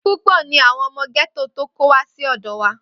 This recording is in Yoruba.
Púpọ̀ ni àwọn ọmọ gẹ́tò tó kó wá sí ọ̀dọ wa.